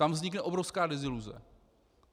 Tam vznikne obrovská deziluze.